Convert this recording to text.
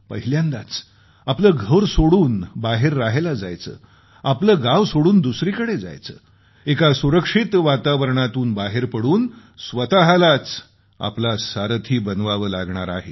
पहिल्यांदाच आपलं घर सोडून बाहेर रहायला जायचं आपलं गाव सोडून दुसरीकडे जायचं एका सुरक्षित वातावरणातून बाहेर पडून स्वतःलाच आपला सारथी व्हावं लागणार आहे